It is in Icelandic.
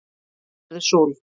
verður súld